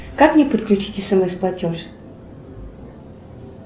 как мне подключить смс платеж